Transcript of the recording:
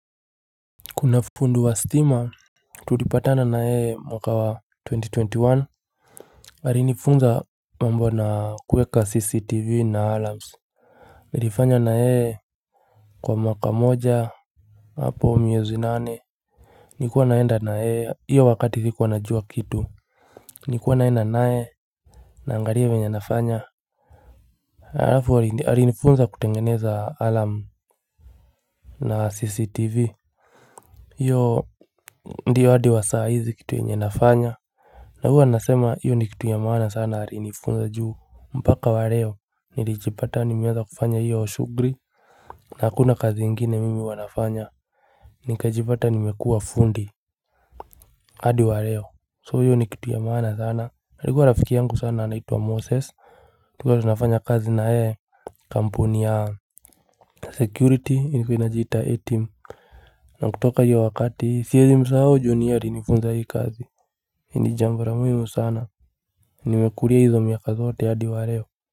Kuna fundi wa stima tulipatana na yeye mwaka wa twenty twenty one. Alinifunza mambo na kuweka CCTV na alarms Nilifanya na yeye kwa mwaka moja hapo miezi nane Nilikuwa naenda na yeye, hiyo wakati ilikuwa najua kitu Nikuwa naenda naye, naangalia venye anafanya. Halafu alinifunza kutengeneza alarm na CCTV. Hiyo ndiyo hadi wa saa hizi kitu yenye nafanya na huwa nasema hiyo ni kitu ya maana sana alinifunza juu mpaka wa leo, nilijipata nimeanza kufanya hiyo shughuli na hakuna kazi ingine mimi huwa nafanya Nikajipata nimekuwa fundi. Hadi wa leo, so hiyo ni kitu ya maana sana. Alikuwa rafiki yangu sana anaitwa Moses Tulikuwa tunafanya kazi na yeye Kampuni ya Security ilikuwa inajiita Etim na kutoka hiyo wakati siwezi msahau juu ni yeye alinifunza hii kazi ni jambo la muhimu sana. Nimekulia hizo miaka zote hadi wa leo.